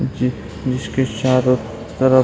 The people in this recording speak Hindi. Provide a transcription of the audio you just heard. जिस-जिसके चारो तरफ --